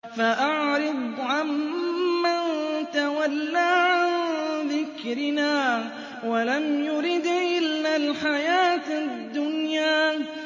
فَأَعْرِضْ عَن مَّن تَوَلَّىٰ عَن ذِكْرِنَا وَلَمْ يُرِدْ إِلَّا الْحَيَاةَ الدُّنْيَا